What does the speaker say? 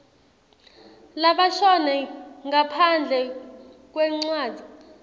labashone ngaphandle kwencwadzi